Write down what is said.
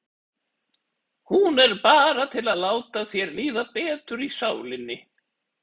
Hún er bara til að láta þér líða betur í sálinni.